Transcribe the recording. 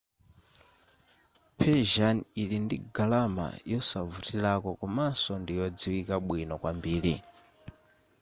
persian ili ndi galamala yosavutilako komanso ndi yodziwika bwino kwambiri